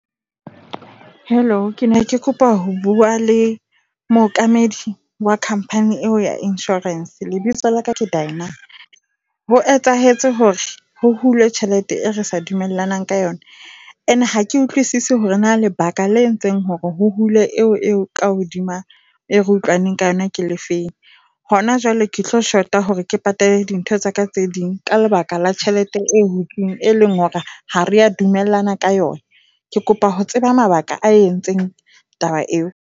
Hello, ke ne ke kopa ho bua le mookamedi wa company eo ya insurance. Lebitso la ka ke Dineo Ho etsahetse hore ho hulwe tjhelete e re sa dumelanang ka yona. Ene ha ke utlwisise hore na lebaka le entseng hore hule eo ka hodima e re utlwaneng ka yona ke le feng. Hona jwale ke tlo short-a hore ke patale dintho tsa ka tse ding ka lebaka la tjhelete e hutsweng e leng hore ha re a dumellana ka yona. Ke kopa ho tseba mabaka a entseng taba eo.